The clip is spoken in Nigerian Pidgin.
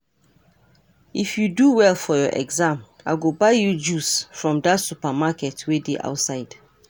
If you do well for your exam I go buy you juice from dat supermarket wey dey outside